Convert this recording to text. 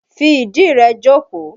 Fi ìdí rẹ jókòó!